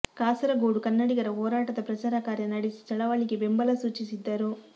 ಕಾಸರಗೋಡು ಕನ್ನಡಿಗರ ಹೋರಾಟದ ಪ್ರಚಾರ ಕಾರ್ಯ ನಡೆಸಿ ಚಳವಳಿಗೆ ಬೆಂಬಲ ಸೂಚಿಸಿದ್ದರು